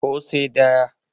ko sai daya